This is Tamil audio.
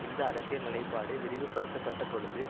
இந்த அரசியல் நிலைப்பாடு விரிவுபடுத்தப்பட்டபொழுது